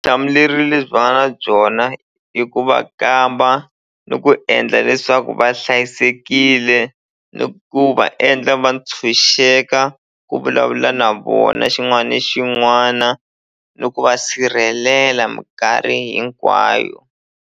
lebyi va nga na byona i ku va kamba ni ku endla leswaku va hlayisekile ni ku va endla va ntshunxeka ku vulavula na vona xin'wani xin'wana ni ku va sirhelela minkarhi hinkwayo.